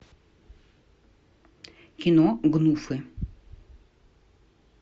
кино гнуфы